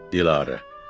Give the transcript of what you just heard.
Dilarə.